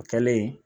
O kɛlen